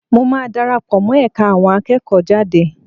Mo máa dara pọ̀ mọ́ ẹ̀ka àwọn akẹ́kọ̀ọ́jade